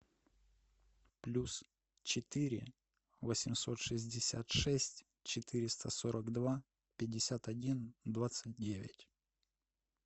плюс четыре восемьсот шестьдесят шесть четыреста сорок два пятьдесят один двадцать девять